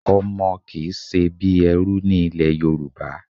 Ọmọ kì í ṣe bí ẹrú ní ilẹ̀ Yorùbá.